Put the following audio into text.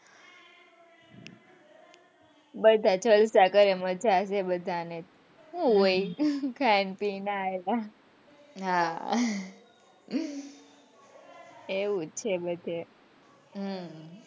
બધા જલસા કરે છે મજા છે બધા ને સુ હોય ખાઈ પીને હા એવું જ છે બધે,